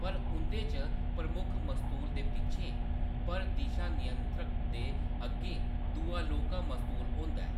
पर उंʼदे च प्रमुख मस्तूल दे पिच्छें, पर दिशा नियंत्रक दे अग्गें दूआ लौह्‌‌‌का मस्तूल होंदा ऐ।